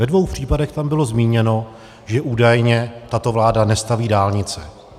Ve dvou případech tam bylo zmíněno, že údajně tato vláda nestaví dálnice.